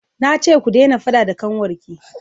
na ce ku dena faɗa da ƙanwar ki!